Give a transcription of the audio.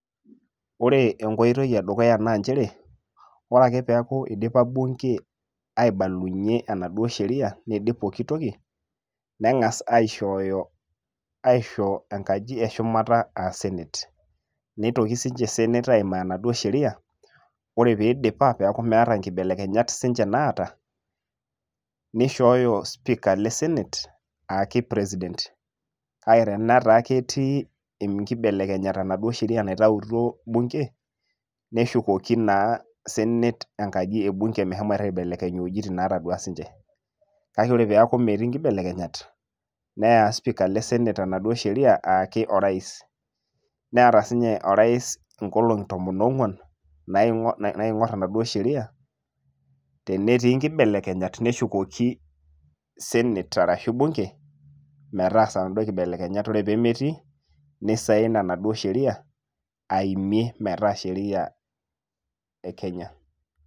Ore enkoitoi edukuya naa njere, ore ake peekuidipa bunge aibalunye enaduo sheria, niidip pooki toki, neng'as aishooyo aisho enkaji eshumata ah senate. Neitoki sinche senate aimaa enaduo sheria, ore pidipa peku meeta nkibelekenyat sinche naata, nishooyo sipika le senate aaki president. Kake teneeku ketii inkibelekenyat enaduo sheria naitautuo bunge ,neshukoki naa senate enkaji e bunge meshomoita aibelekeny iwojiting' natadua sinche. Kake ore peeku metii nkibelekenyat, neya sipika le senate enaduo sheria aaki o rais. Neeta sinye o rais inkolong'i tomon ong'uan, naing'or enaduo sheria, tenetii nkibelekenyat, neshukoki senate arashu bunge ,metaasa naduo kibelekenyak. Ore pemetii, nisain enaduo sheria, aimie metaa sheria e kenya.